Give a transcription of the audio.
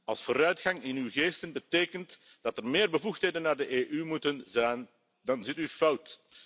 Als vooruitgang in uw ogen betekent dat er meer bevoegdheden naar de EU moeten gaan, dan zit u fout.